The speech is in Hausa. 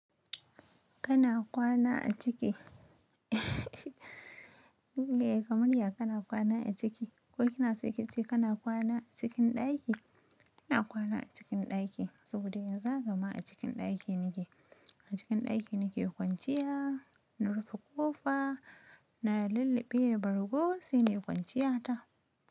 Kana kwana a ciki? Eh kaman ya kana kwana a ciki. Ko kina so ki ce kana kwana a cikin ɗaki? Ina kwana a cikin ɗaki saboda yanzu haka ma a cikin ɗaki nake. A cikin ɗaki nake kwanciya, na rufe ƙofa, na lulluɓe bargo sai nayi kwanciya ta.